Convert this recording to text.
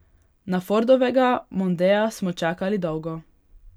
Na Fordovega mondea smo čakali dolgo.